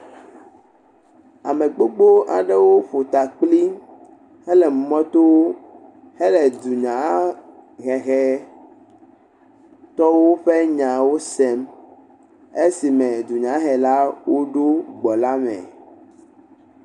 Ame gbogbo aɖewo ƒo ta kpli hele mɔto hele dunyahehetɔwo ƒe nyawo sem. Esi me dunyahelawo woɖo gbɔ la me.